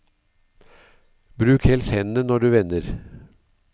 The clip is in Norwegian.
Bruk helst hendene når du vender.